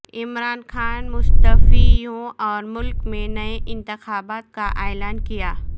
عمران خان مستعفی ہوں اورملک میں نئے انتخابات کااعلان کیا